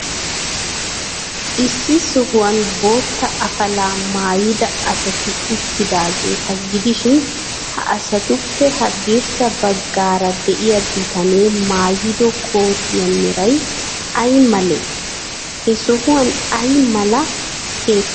Issi sohuwan bootta afalaa maayida asati uttidaageeta gidishin, ha asatuppe haddirssa baggaara de'iyaa bitanee maayido kootiyaa meray ay malee? He sohuwan ay mala keettati de'iyoonaa?